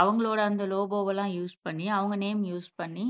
அவங்களோட அந்த லோகோவெல்லாம் யூஸ் பண்ணி அவங்க நேம் யூஸ் பண்ணி